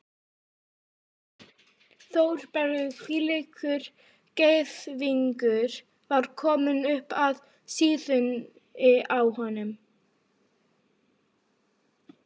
Þórbergur hvílíkur gæðingur var kominn upp að síðunni á honum?